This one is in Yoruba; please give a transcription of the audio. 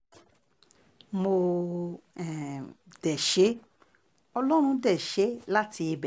mo um dé ṣe é ọlọ́run dé ṣe é láti ibẹ̀